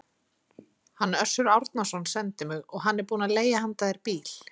Hann Össur Árnason sendi mig, og hann er búinn að leigja handa þér bíl.